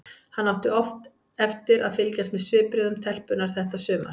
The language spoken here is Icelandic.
Hann átti oft eftir að fylgjast með svipbrigðum telpunnar þetta sumar.